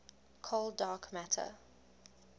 cold dark matter